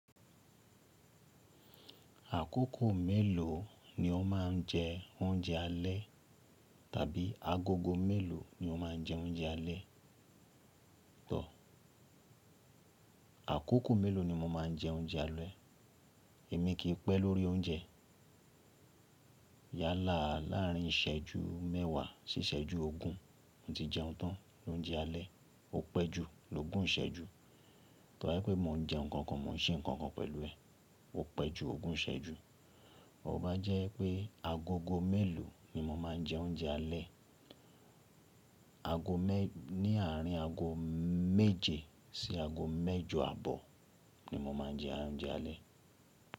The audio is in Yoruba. Àkókò mélòó ni o máà ń jẹ oúnjẹ alẹ́? Tàbí agogo mélòó ni o máà ń jẹ oúnjẹ alẹ́? Tọ́, àkókò mélòó ni mo máa ń jẹ oúnjẹ alẹ́? Èmi kì ń pẹ́ lórí oúnjẹ. Yálà, láàárín ìsẹ́jú mẹ́wàá sí ìsẹ́jú ogún, mo ti jẹun tán, lóúnjẹ alẹ́. Ó pè jù lógún ìṣẹ́jú Tọ́ bá jẹ pé mo ń jẹ nǹkan kan, mo ń ṣe nǹkan kan pẹ̀lú ẹ̀, ó pẹ́ ju ogún ìsẹ́jú. Ó máa jẹ́ pé agogo mélòó ni mo máa ń jẹ oúnjẹ alẹ́, ago mẹ́, ní àárín ago méje sí ago mẹ́jọ àbọ̀ ni mo máa ń jẹ oúnjẹ alẹ́.